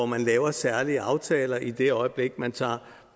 man laver særlige aftaler i det øjeblik man tager